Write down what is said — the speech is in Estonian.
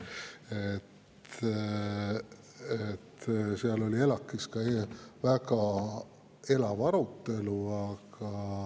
ELAK‑is oli eile ka väga elav arutelu.